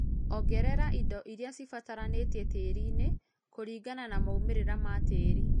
ongerera ĩndo ĩrĩa cĩbataranĩtĩe tĩĩrĩ ĩnĩ kũrĩngana na maũmĩrĩra ma tĩĩrĩ